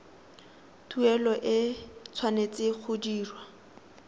tuelo e tshwanetse go dirwa